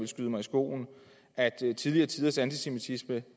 skyde mig i skoene at tidligere tiders antisemitisme